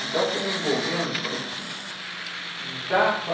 Então fui me envolvendo, falei, putz, dá para...